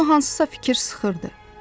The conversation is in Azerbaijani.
Onu hansısa fikir sıxırdı.